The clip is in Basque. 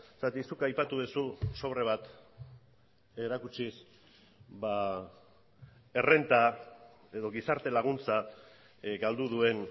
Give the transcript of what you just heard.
zeren zuk aipatu duzu sobre bat erakutsiz errenta edo gizarte laguntza galdu duen